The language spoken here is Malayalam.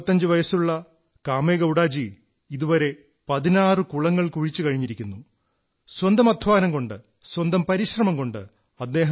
8085 വയസ്സുള്ള കാമേഗൌഡാ ജീ ഇതുവരെ 16 കുളങ്ങൾ കുഴിച്ചു കഴിഞ്ഞിരിക്കുന്നു സ്വന്തം അധ്വാനം കൊണ്ട് സ്വന്തം പരിശ്രമം കൊണ്ട്